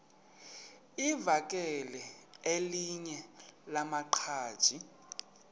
livakele elinye lamaqhaji